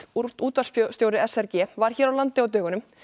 útvarpsstjóri s r g var hér á landi á dögunum